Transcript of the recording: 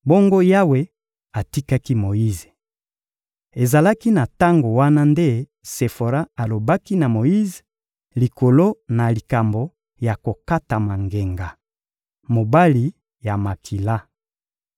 Bongo Yawe atikaki Moyize. Ezalaki na tango wana nde Sefora alobaki na Moyize likolo na likambo ya kokatama ngenga: — Mobali ya makila.